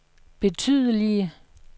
betydelige